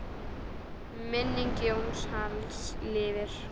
Minning Jóns Halls lifir.